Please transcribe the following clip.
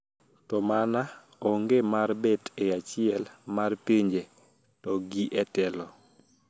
To mana onge mar bet e achiel mar pinje to gi e telo